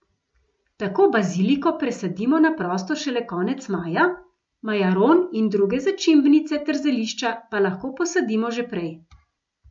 Tako baziliko presadimo na prosto šele konec maja, majaron in druge začimbnice ter zelišča pa lahko posadimo že prej.